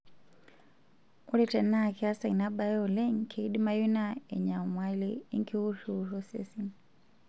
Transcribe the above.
Ore tenaa keesa ina bae oleng',keidimayu naa enyamalai enkiwurriwurrosesen.